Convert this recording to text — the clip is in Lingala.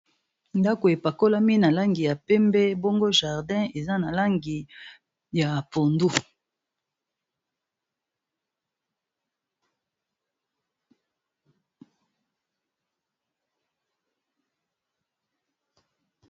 Ndako epakolami na langi ya pembe bongo jardin eza na langi ya pondu.